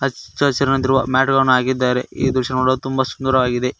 ಹಚ್ಚ ಹಸಿರಾಗಿರುವ ಮ್ಯಾಟ್ ಗಳನ್ನು ಹಾಕಿದಾರೆ ಈ ದೃಶ್ಯ ನೋಡಲು ತುಂಬ ಸುಂದರವಾಗಿದೆ.